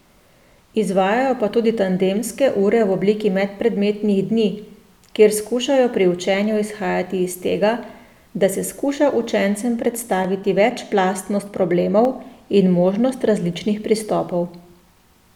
Izvajajo pa tudi tandemske ure v obliki medpredmetnih dni, kjer skušajo pri učenju izhajati iz tega, da se skuša učencem predstaviti večplastnost problemov in možnost različnih pristopov.